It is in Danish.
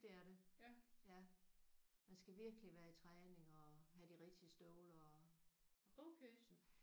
Det er det ja. Man skal virkelig være i træning og have de rigtige støvler og